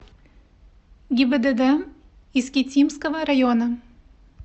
гибдд искитимского района